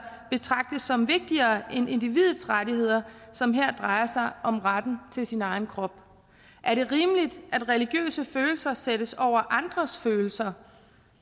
betragtes som vigtigere end individets rettigheder som her drejer sig om retten til sin egen krop er det rimeligt at religiøse følelser sættes over andres følelser